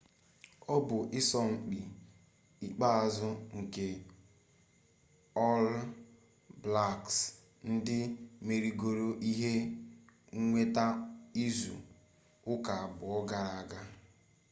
ọ bụ ịsọmpi ikpeazụ nke ọl blaks ndị merigoro ihe nnweta izu ụka abụọ gara aga